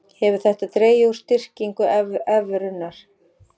Hefur þetta dregið úr styrkingu evrunnar